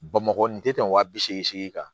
Bamakɔ nin tɛ tɛmɛ wa bi seegin kan